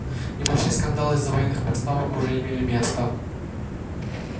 небольшие скандалы из-за военных поставок уже имели место